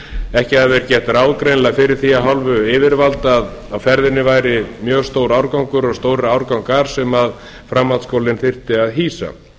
ekki hafi verið gert ráð greinilega fyrir því af hálfu yfirvalda að á ferðinni væri mjög stór árgangur og árgangar sem framhaldsskólinn þyrfti að hýsa